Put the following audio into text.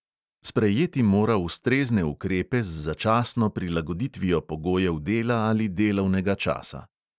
Sprejeti mora ustrezne ukrepe z začasno prilagoditvijo pogojev dela ali delovnega časa.